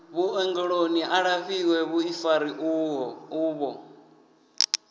vhuongeloni a lafhiwe vhuḓifari uvho